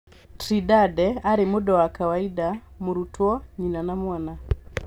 Trindade aarĩ mũndũ wa kawaida, mũrũtwo, nyina na mwana